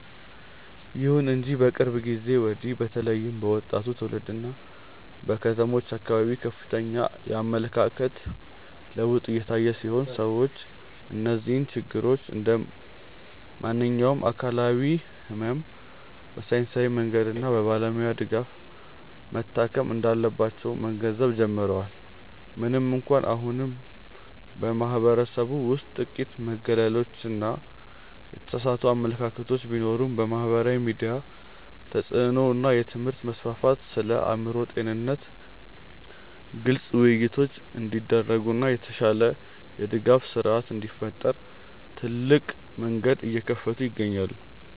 ይሁን እንጂ ከቅርብ ጊዜ ወዲህ በተለይም በወጣቱ ትውልድና በከተሞች አካባቢ ከፍተኛ የአመለካከት ለውጥ እየታየ ሲሆን፣ ሰዎች እነዚህን ችግሮች እንደ ማንኛውም አካላዊ ሕመም በሳይንሳዊ መንገድና በባለሙያ ድጋፍ መታከም እንዳለባቸው መገንዘብ ጀምረዋል። ምንም እንኳን አሁንም በማኅበረሰቡ ውስጥ ጥቂት መገለሎችና የተሳሳቱ አመለካከቶች ቢኖሩም፣ የማኅበራዊ ሚዲያ ተጽዕኖ እና የትምህርት መስፋፋት ስለ አእምሮ ጤንነት ግልጽ ውይይቶች እንዲደረጉና የተሻለ የድጋፍ ሥርዓት እንዲፈጠር ትልቅ መንገድ እየከፈቱ ይገኛሉ።